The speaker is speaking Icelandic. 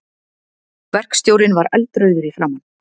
Verkstjórinn var eldrauður í framan.